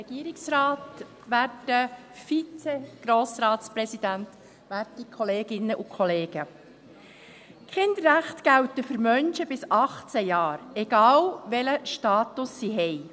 Die Kinderrechte gelten für Menschen bis 18 Jahre, egal welchen Status sie haben.